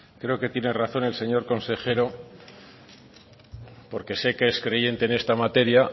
creo que tiene razón el señor consejero porque sé que es creyente en esta materia